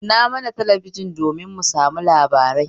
Kunna mana talabijin don mu saurari labarai